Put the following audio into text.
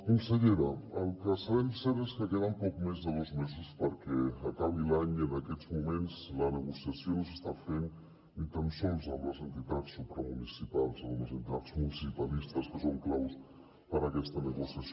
consellera el que sabem cert és que queden poc més de dos mesos perquè acabi l’any i en aquests moments la negociació no s’està fent ni tan sols amb les entitats supramunicipals amb les entitats municipalistes que són claus per a aquesta negociació